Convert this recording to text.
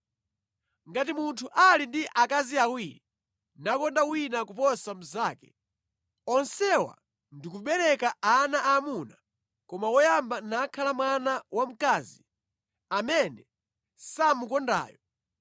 Ngati munthu ali ndi akazi awiri, nakonda wina koposa mnzake, onsewa ndikubereka ana aamuna koma woyamba nakhala mwana wa mkazi amene samukondayo,